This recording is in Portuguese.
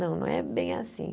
Não, não é bem assim.